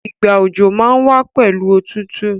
Ìgbà òjò má n wa pẹ̀lu otútù